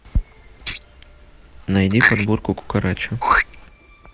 найди подборку кукарача